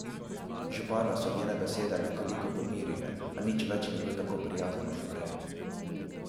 Župana so njene besede nekoliko pomirile, a nič več ni bil tako prijazen kot prej.